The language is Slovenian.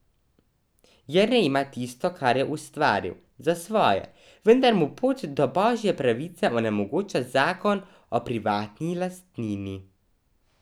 Jernej ima tisto, kar je ustvaril, za svoje, vendar mu pot do Božje pravice onemogoča Zakon o privatni lastnini.